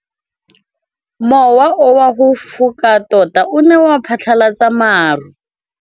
Mowa o wa go foka tota o ne wa phatlalatsa maru.